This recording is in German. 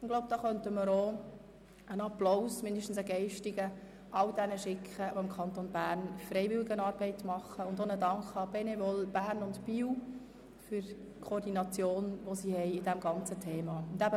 Ich glaube, auch wir könnten einen mindestens geistigen Applaus an all jene schicken, die im Kanton Bern Freiwilligenarbeit leisten und auch der Benevol Bern und Biel für die Koordination in diesem ganzen Thema danken.